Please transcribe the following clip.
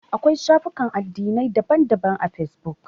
Akwai shafukan addinai da dama a fesbuk.